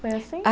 Foi assim?